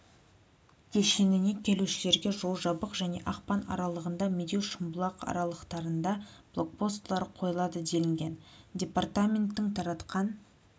кешеніне келушілерге жол жабық және ақпан аралығында медеу шымбұлақ аралықтарында блокпостылар қойылады делінген департаменттің таратқан